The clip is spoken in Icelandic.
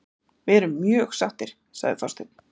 Við erum mjög sáttir, sagði Þorsteinn.